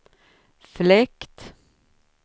fläkt